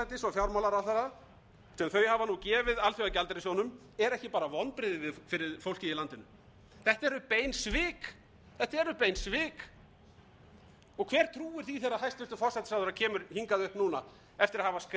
nú gefið alþjóðagjaldeyrissjóðnum eru ekki bara vonbrigði fyrir fólkið í landinu þetta eru bein svik hver trúir því þegar hæstvirtur forsætisráðherra kemur hingað upp núna eftir að hafa skrifað undir